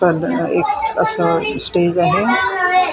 पण एक असा स्टेज आहे.